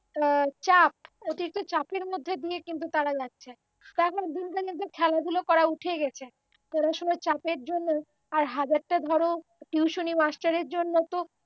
আ চাপ অতিরিক্ত চাপের মধ্যে দিয়ে কিন্তু তারা যাচ্ছে তারা এখন দিনকেদিন খেলাধুলো করা তো উঠেই গেছে তারা ধরো চাপের জন্য আর হাজারটা ধরো টিউশনি মাস্টারের জন্য তো